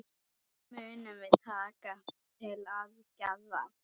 Munum við taka til aðgerða?